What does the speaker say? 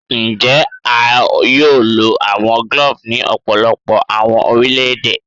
Njẹ a yoo lo awọn cloves ni ọpọlọpọ awọn orilẹ-ede?